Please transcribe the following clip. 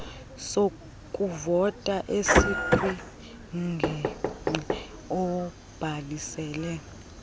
sokuvota esikwingingqi obhalisele